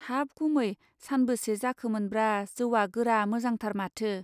हाब गुमै सानबोसे जाखोमोनब्रा जौवा गोरा मोजांथार माथो.